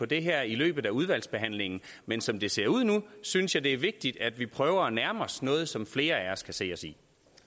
det her i løbet af udvalgsbehandlingen men som det ser ud nu synes jeg det er vigtigt at vi prøver at nærme os noget som flere af os kan se os i